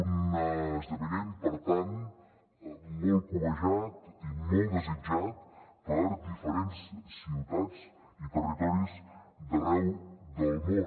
un esdeveniment per tant molt cobejat i molt desitjat per diferents ciutats i territoris d’arreu del món